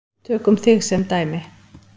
Tökum þig sem dæmi.